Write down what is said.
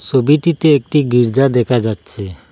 সোবিটিতে একটি গির্জা দেখা যাচ্ছে।